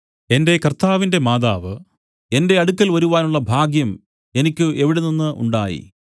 എന്റെ കർത്താവിന്റെ മാതാവ് എന്റെ അടുക്കൽ വരുവാനുള്ള ഭാഗ്യം എനിക്ക് എവിടെ നിന്നു ഉണ്ടായി